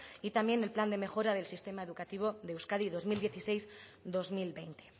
y también el plan de mejora del sistema educativo de euskadi dos mil dieciséis dos mil veinte